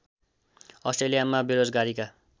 अस्ट्रेलियामा बेरोजगारीका